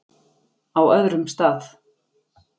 Á öðrum stað.